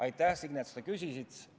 Aitäh, Signe, et sa seda küsisid!